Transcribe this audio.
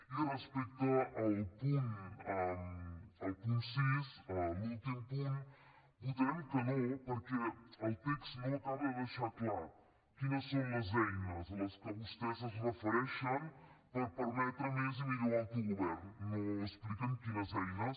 i respecte al punt sis l’últim punt votarem que no perquè el text no acaba de deixar clar quines són les eines a les que vostès es refereixen per permetre més i millor autogovern no expliquen quines eines